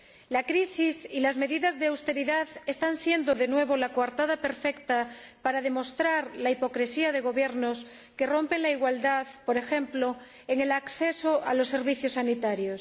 La crisis y las medidas de austeridad están siendo de nuevo la coartada perfecta para demostrar la hipocresía de Gobiernos que rompen la igualdad, por ejemplo, en el acceso a los servicios sanitarios.